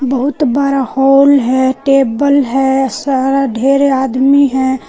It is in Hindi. बहुत बड़ा हॉल है टेबल है सारा ढेरे आदमी है।